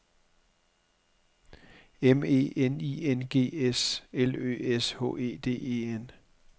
M E N I N G S L Ø S H E D E N